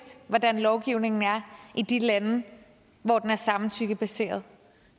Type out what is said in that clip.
hvordan lovgivningen er i de lande hvor den er samtykkebaseret